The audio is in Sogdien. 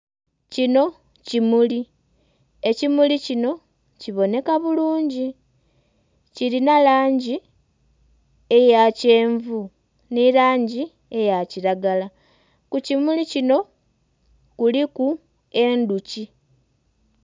Kino kimuli, ekimuli kino kiboneka bulungi. Kilina langi eya kyenvu nhi langi eya kilagala. Ku kimuli kino kuliku endhuki.